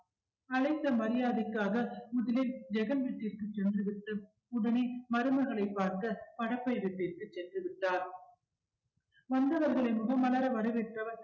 அழைத்த மரியாதைக்காக முதலில் ஜெகன் வீட்டிற்கு சென்றுவிட்டு உடனே மருமகளைப் பார்க்க படப்பை வீட்டிற்கு சென்று விட்டார் வந்தவர்களை முகம் மலர வரவேற்றவர்